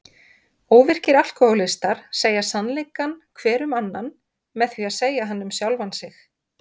Óvirkir alkóhólistar segja sannleikann hver um annan með því að segja hann um sjálfan sig.